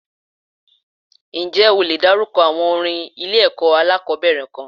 Ǹjẹ́ o le dárúkọ àwọn orin ilé ẹ̀kọ́ alákòbẹ̀rẹ̀ kan?